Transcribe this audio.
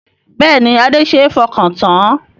Bẹ́ẹ̀ni Adé ṣe é fọkàn tán